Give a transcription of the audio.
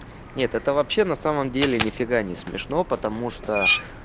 нет это вообще на самом деле нифига не смешно потому что